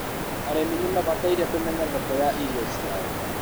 arĩmi nĩ mabataire kũmenya thoko ya irio ciao